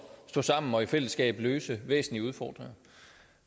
stå sammen og i fællesskab løse væsentlige udfordringer